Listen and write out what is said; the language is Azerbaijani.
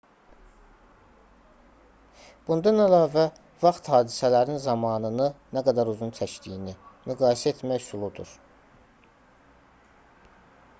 bundan əlavə vaxt hadisələrin zamanını nə qədər uzun çəkdiyini müqayisə etmə üsuludur